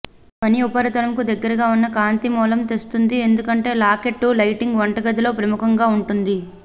పని ఉపరితలంకు దగ్గరగా ఉన్న కాంతి మూలం తెస్తుంది ఎందుకంటే లాకెట్టు లైటింగ్ వంటగదిలో ప్రముఖంగా ఉంటుంది